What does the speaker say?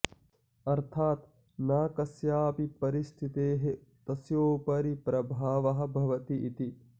अर्थात् न कस्यापि परिस्थितेः तस्योपरि प्रभावः भवति इति